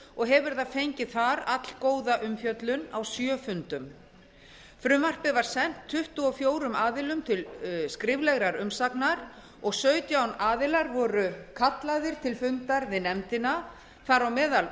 og hefur það fengið þar allgóða umfjöllun á sjö fundum frumvarpið var sent tuttugu og fjórum aðilum til skriflegrar umsagnar og sautján aðilar voru kallaðir til fundar við nefndina þar á meðal